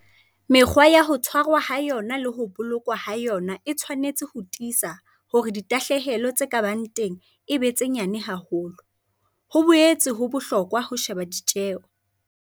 Mekgwa ya ho tshwarwa ha yona le ho bolokwa ha yona e tshwanetse ho tiisa hore ditahlehelo tse ka bang teng e ba tse nyane haholo. Ho boetse ho bohlokwa ho sheba ditjeo.